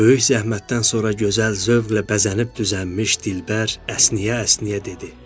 Böyük zəhmətdən sonra gözəl zövqlə bəzənib düzənmiş dilbər əsniyə-əsniyə dedi.